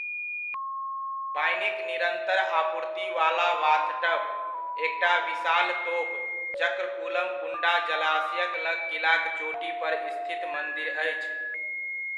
पानिक निरन्तर आपूर्ति वाला बाथटब, एकटा विशाल तोप, चक्रकुलम कुण्डा जलाशयक लग किलाक चोटी पर स्थित मंदिरक अछि।